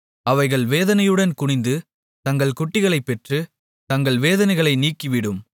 அவைகள் வேதனையுடன் குனிந்து தங்கள் குட்டிகளைப் பெற்று தங்கள் வேதனைகளை நீக்கிவிடும்